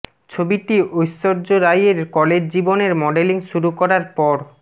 ছবিটি ঐশ্বর্য রাইয়ের কলেজ জীবনের মডেলিং শুরু করার পর